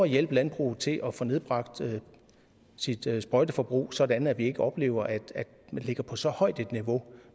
hjælpe landbruget til at få nedbragt sit sprøjteforbrug sådan at vi ikke oplever at vi ligger på så højt et niveau